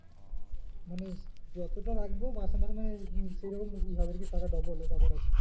মানে যতটা রাখবো মাসে মাসে মানে তাদের কি টাকা double